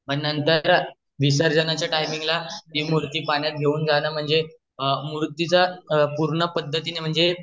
मग नंतर विसर्जन च्या टाइमिंग ला ती मूर्ती घेऊन जन म्हणजे मूर्तीचा पूर्ण पद्धतीने म्हणजे